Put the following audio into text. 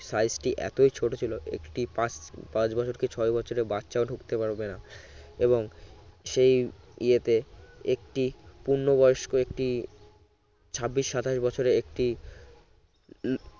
size টি এতই ছোট ছিল একটি পা পাঁচ বছর কে ছয় বছরের বাচ্চাও ঢুকতে পারবে না এবং সেই এতে একটি পূর্ণবয়স্ক একটি ছাব্বিশ সাতাশ বছরের একটি হম